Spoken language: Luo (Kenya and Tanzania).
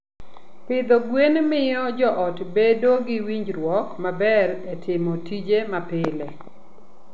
Pidho gwen miyo joot bedo gi winjruok maber e timo tije mapile.